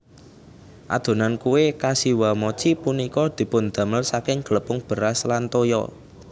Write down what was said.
Adonan kue Kashiwamochi punika dipundamel saking glepung beras lan toya